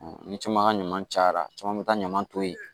Ni caman ka ɲama cayara caman bɛ taa ɲaman to yen